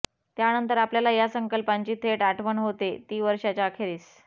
त्यानंतर आपल्याला या संकल्पांची थेट आठवण होते ती वर्षाच्या अखेरीस